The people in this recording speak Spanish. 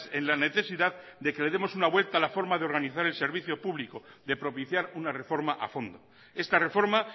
en la necesidad de que le demos una vuelta a la forma de organizar el servicio público de propiciar una reforma a fondo esta reforma